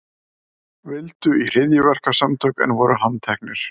Vildu í hryðjuverkasamtök en voru handteknir